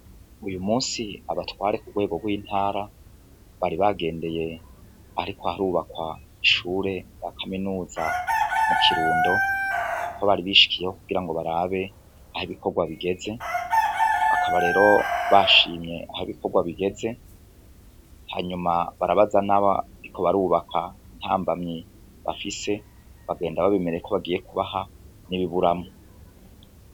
Uyu musi abatware ku bwego rw'intara bari bagendeye, ariko harubakwa ishure ya kaminuza mu kirundo ko bari bishikiyeho kugira ngo barabe aho ibikorwa bigeze akabarero bashimye aha ibikorwa bigeze hanyuma barabaza nabo riko barubaka intambamyi bafise bagenda babimereye ko bagiye kubaha n'ibiburamo.